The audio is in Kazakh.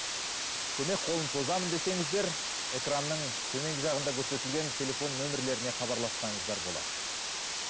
көмек қолын созамын десеңіздер экранның төменгі жағында көрсетілген телефон нөмірлеріне хабарлассаңыздар болады